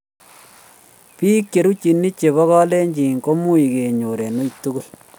Biik cherutchini chebo kalenjin ko much kenyor eng' uiy tugul